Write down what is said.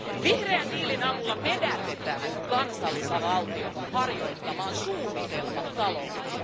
Vihreän diilin avulla vedätetään kansallisvaltiot harjoittamaan suunnitelmataloutta.